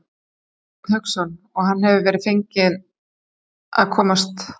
Hafsteinn Hauksson: Og hann hefur verið feginn að komast?